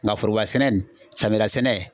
Nga foroba sɛnɛ nin samiya la sɛnɛ